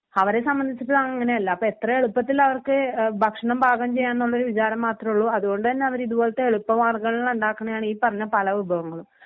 അവരെ സംബന്ധിച്ചിട്ട് അങ്ങനെയല്ല അപ്പോ എത്ര എളുപ്പത്തിൽ അവർക്ക് ഏഹ് ഭക്ഷണം പാകം ചെയ്യാം എന്നുള്ളൊരു വിചാരം മാത്രോള്ളു അതുകൊണ്ടുതന്നെ അവര് ഇതുപോലെത്തെ എളുപ്പ മാർഗ്ഗങ്ങളിൽ ഉണ്ടാക്കണെയാണ് ഈ പറഞ്ഞ പല വിഭവങ്ങളും.